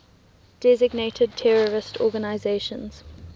designated terrorist organizations